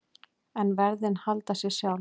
En verðin sjálf halda sér.